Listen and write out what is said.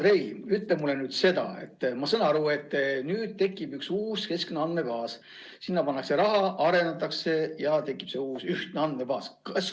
Hea Andrei, ütle mulle seda: ma saan aru, et nüüd tekib üks uus, keskne andmebaas – sinna pannakse raha ja seda arendatakse.